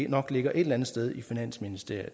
nok ligger et eller andet sted i finansministeriet og